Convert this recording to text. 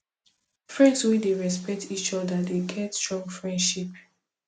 friends wey dey respect each oda dey get strong friendship